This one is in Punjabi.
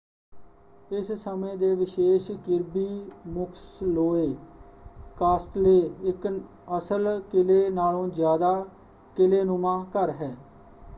ਇਸ ਸਮੇਂ ਦੇ ਵਿਸ਼ੇਸ਼ ਕਿਰਬੀ ਮੁਕਸਲੋਏ ਕਾਸਟਲੇ ਇਕ ਅਸਲ ਕਿਲੇ ਨਾਲੋਂ ਜ਼ਿਆਦਾ ਕਿਲ੍ਹੇਨੁਮਾ ਘਰ ਹੈ।